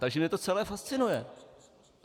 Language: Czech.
Takže mě to celé fascinuje.